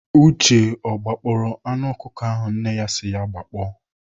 Uche o gbakpọọrọ anụ ọkụkọ ahụ nne si ya gbakpọ?